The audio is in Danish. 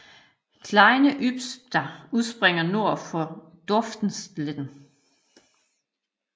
Kleine Ysper udspringer nord for Dorfstetten